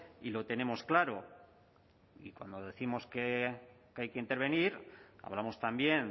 y lo tenemos claro y cuando décimos que hay que intervenir hablamos también